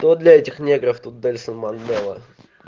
но для этих негров тут больше манголов